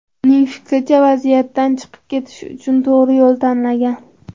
Uning fikricha, vaziyatdan chiqib ketish uchun to‘g‘ri yo‘l tanlangan.